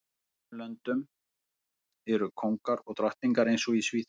Í sumum löndum eru kóngar og drottningar eins og í Svíþjóð